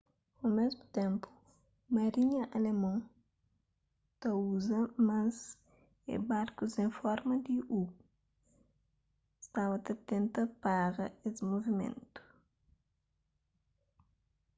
o mésmu ténpu marinha alemon ta uza más é barkus en forma di u staba ta tenta pára es movimentu